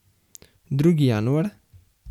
Drugi januar?